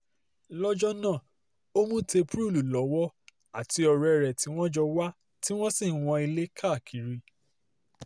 lọ́jọ́ náà ó mú tẹ́púrúùlù lọ́wọ́ àti ọ̀rẹ́ rẹ̀ tí wọ́n jọ wà tí wọ́n sì ń wọn ilé káàkiri